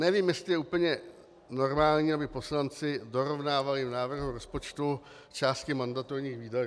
Nevím, jestli je úplně normální, aby poslanci dorovnávali v návrhu rozpočtu části mandatorních výdajů.